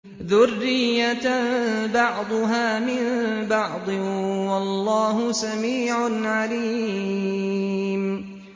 ذُرِّيَّةً بَعْضُهَا مِن بَعْضٍ ۗ وَاللَّهُ سَمِيعٌ عَلِيمٌ